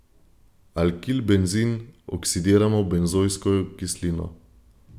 Alkilbenzen oksidiramo v benzojsko kislino.